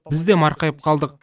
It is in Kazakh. біз де марқайып қалдық